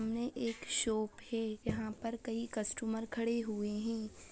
सामने एक शोप है | यहाँ पर कई कस्टमर खड़े हुए हैं ।